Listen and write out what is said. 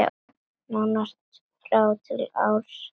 Nánast frá ári til árs.